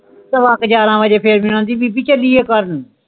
ਸੇਵਕ ਗਿਰਾਹ ਵਜੇ ਫੇਰ ਮੇਨੂ ਆਂਦੀ ਬੀਬੀ ਚਲੀਏ ਘਰ ਨੂੰ